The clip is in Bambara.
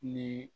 Ni